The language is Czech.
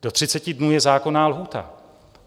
Do 30 dnů je zákonná lhůta.